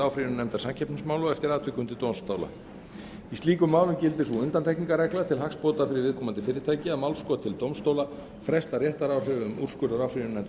áfrýjunarnefndar samkeppnismála og eftir atvikum til dómstóla í slíkum málum gildir sú undantekningarregla til hagsbóta fyrir viðkomandi fyrirtæki að málskot til dómstóla frestar réttaráhrifum úrskurðar áfrýjunarnefndar samkeppnismála